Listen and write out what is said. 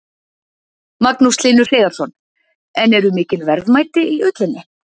Magnús Hlynur Hreiðarsson: En eru mikil verðmæti í ullinni?